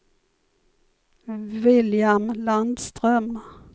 William Landström